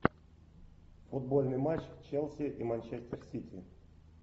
футбольный матч челси и манчестер сити